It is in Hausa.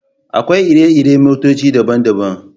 Akwai iri-iri motoci daban-daban.